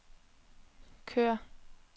kør